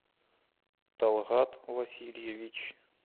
талгат васильевич